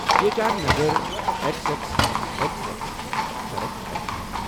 G H I نگر، X X X X سڑک X اٮ۪کس۔